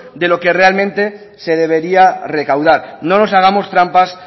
de lo que realmente se debería recaudar no nos hagamos trampas